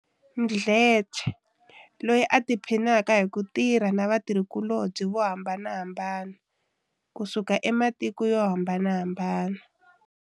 Mdletshe, loyi a tiphinaka hi ku tirha na vatirhikulobye vo hambanahambana, kusuka ematiko yo hambanahambana.